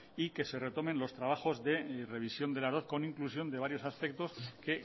y que se retomen los trabajos de revisión de las dot con inclusión de varios aspectos que